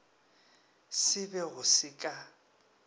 se be go se ka